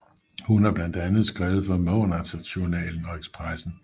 Hun har blandt andet skrevet for Månadsjournalen og Expressen